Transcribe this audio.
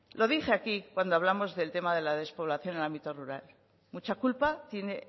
lo dije aquí cuando hablamos del tema de la despoblación en el ámbito rural mucha culpa tiene